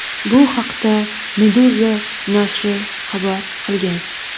Bu haqda Meduza nashri xabar qilgan .